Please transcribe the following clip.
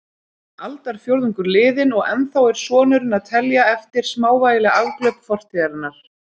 Aldarfjórðungur liðinn og ennþá er sonurinn að telja eftir smávægileg afglöp fortíðarinnar.